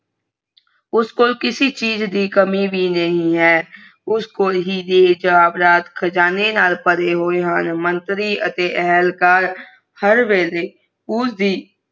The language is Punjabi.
ਉਸਕੋ ਕਿਸੀ ਚੀਜ਼ ਦੀ ਕਮੀ ਨਹੀਂ ਆਹ ਉਸਕੋ ਹੀਰਾ ਨਾਲ